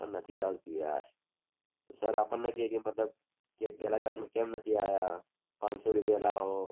પણ નથી ચાલતું યાર સર આપણને કે પેલા class માં કેમ નથી આયા પાંચસો રૂપિયા લાવો